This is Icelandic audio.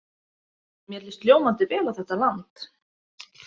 Mér líst ljómandi vel á þetta land.